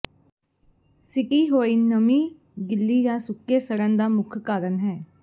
ਸਿੱਟੀ ਹੋਈ ਨਮੀ ਗਿੱਲੀ ਜਾਂ ਸੁੱਕੇ ਸੜਨ ਦਾ ਮੁੱਖ ਕਾਰਨ ਹੈ